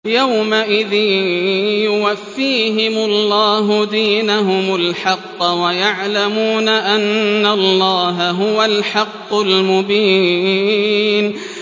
يَوْمَئِذٍ يُوَفِّيهِمُ اللَّهُ دِينَهُمُ الْحَقَّ وَيَعْلَمُونَ أَنَّ اللَّهَ هُوَ الْحَقُّ الْمُبِينُ